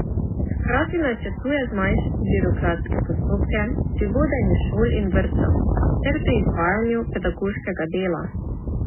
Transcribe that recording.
Hkrati načrtuje zmanjšati birokratske postopke pri vodenju šol in vrtcev ter pri izvajanju pedagoškega dela.